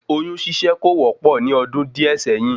Oyún ṣíṣe kò wọ́pọ̀ ní ọdún díẹ̀ sẹ́yìn